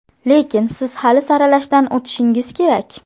Lekin siz hali saralashdan o‘tishingiz kerak.